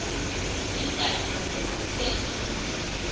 zimdaka ngokugqithe mntu